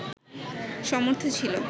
সমর্থ ছিল